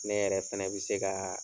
Ne yɛrɛ fɛnɛ bɛ se ka